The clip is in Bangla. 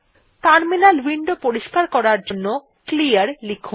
টার্মিনাল উইন্ডো পরিস্কার করার জন্য ক্লিয়ার লিখুন